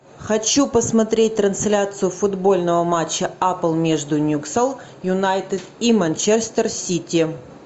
хочу посмотреть трансляцию футбольного матча апл между ньюкасл юнайтед и манчестер сити